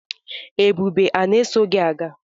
Ebube a na-eso gi aga agha?